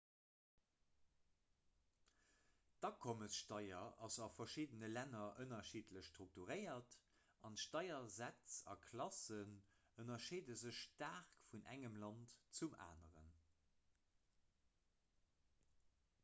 d'akommessteier ass a verschiddene länner ënnerschiddlech strukturéiert an d'steiersätz a klassen ënnerscheede sech staark vun engem land zum aneren